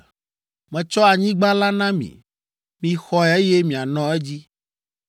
Metsɔ anyigba la na mi. Mixɔe eye mianɔ edzi.